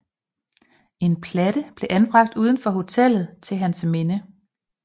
En platte blev anbragt uden for hotellet til hans minde